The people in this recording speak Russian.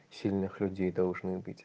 сильных людей должны быть